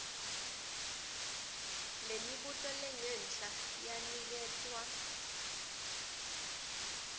lemibuto lengenhla yaniketwa